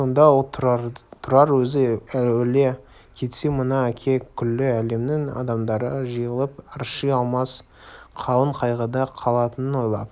сонда ол тұрар өзі өле кетсе мына әке күллі әлемнің адамдары жиылып арши алмас қалың қайғыда қалатынын ойлап